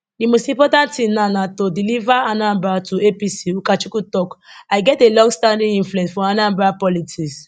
di most important thing now na to deliver anambra to apc ukachukwu tok i get a longstanding influence for anambra politics